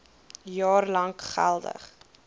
jaar lank geldig